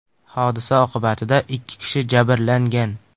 Hodisa oqibatida ikki kishi jabrlangan.